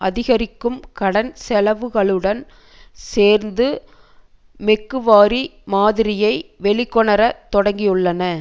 அதிகரிக்கும் கடன் செலவுகளுடன் சேர்ந்து மெக்குவாரி மாதிரியை வெளிக்கொணர தொடங்கியுள்ளன